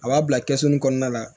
A b'a bila kɛsu kɔnɔna la